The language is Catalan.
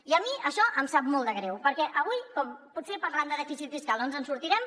i a mi això em sap molt de greu perquè avui com que potser parlant de dèficit fiscal no ens en sortirem